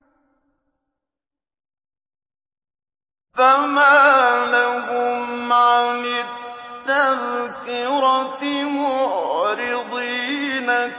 فَمَا لَهُمْ عَنِ التَّذْكِرَةِ مُعْرِضِينَ